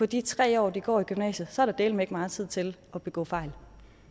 de tre år de går i gymnasiet så er der dæleme ikke meget tid til at begå fejl